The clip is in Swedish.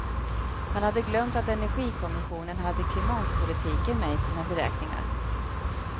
Han hade glömt att energikommissionen hade klimatpolitiken med i sina beräkningar.